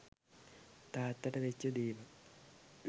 තාත්තට වෙච්ච දෙවල්